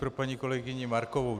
Pro paní kolegyni Markovou.